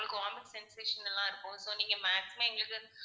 அவங்களுக்கு vomit sensation லா இருக்கும் so நீங்க maximum எங்களுக்கு